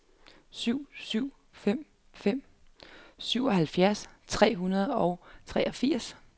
syv syv fem fem syvoghalvfjerds tre hundrede og treogfirs